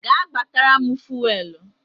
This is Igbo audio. Gaa gbatara m Fuwelu!